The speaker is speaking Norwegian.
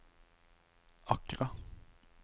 Accra